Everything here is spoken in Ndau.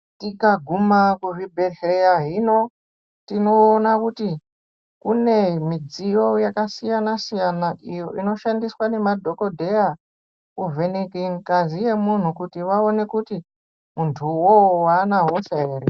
Tikaguma kuzvibhedhleya hino tinoiona kuti kune midziyo yakasiyana-siyana, iyo inoshandiswa nemadhokodheya, kuvheneke ngazi yemunhu kuti vaone kuti ,muntu uwowo aana hosha ere.